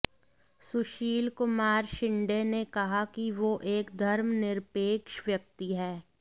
सुशील कुमार शिंदे ने कहा कि वो एक धर्मनिरपेक्ष व्यक्ति हैं